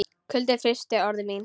Kuldinn frystir orð mín.